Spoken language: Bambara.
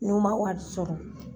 N'u man wari sɔrɔ